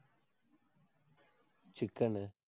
chicken னு